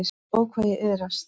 Ó, hvað ég iðraðist.